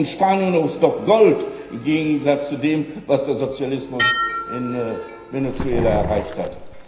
Die Lage in Spanien ist doch Gold im Gegensatz zu dem, was der Sozialismus in Venezuela erreicht hat.